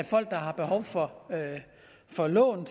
folk der har behov for for lån